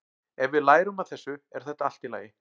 Ef við lærum af þessu er þetta allt í lagi.